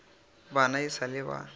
bana e sa le ba